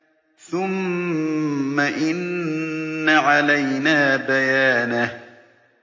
ثُمَّ إِنَّ عَلَيْنَا بَيَانَهُ